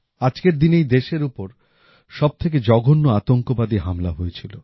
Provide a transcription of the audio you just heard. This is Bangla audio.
আজকের দিনেই দেশের উপর সবথেকে জঘন্য আতঙ্কবাদী হামলা হয়েছিল